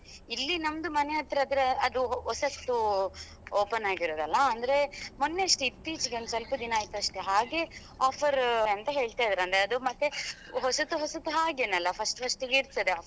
ಇಲ್ಲಿ ನಮ್ದು ಮನೆ ಹತ್ರತ್ರ ಅದು ಹೊಸತ್ತು open ಆಗಿರುದಲ್ಲ ಅಂದ್ರೆ ಮೊನ್ನೆ ಅಷ್ಟೇ ಇತ್ತೀಚಿಗೆ ಒಂದ್ ಸ್ವಲ್ಪ ದಿನ ಆಯ್ತ್ ಅಷ್ಟೇ ಹಾಗೆ offer ಅಂತ ಹೇಳ್ತಿದ್ರು ಅಂದ್ರೆ ಮತ್ತೆ ಹೊಸತು ಹೊಸತು ಹಾಗೇನೇ ಅಲ್ಲ first first ಗೆ ಇರ್ತದೆ.